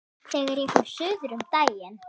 Þegar ég fór suður um daginn.